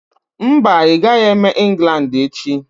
Mba, ị gaghị eme England echi.